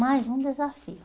Mais um desafio.